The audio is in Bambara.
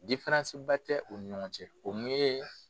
tɛ u ɲɔgɔn cɛ o mun ye